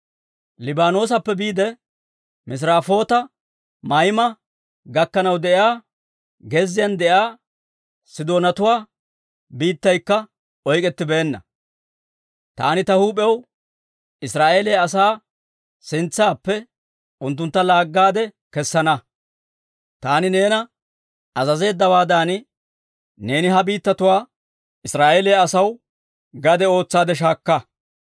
Liibaanoosappe biide Misirafoota-Mayma gakkanaw de'iyaa gezziyaan de'iyaa Sidoonatuwaa biittaykka oyk'k'ettibeenna. Taani ta huup'iyaw Israa'eeliyaa asaa sintsaappe unttuntta laaggaade kessana. Taani neena azazeeddawaadan, neeni ha biittatuwaa Israa'eeliyaa asaw gade ootsaadde shaakka.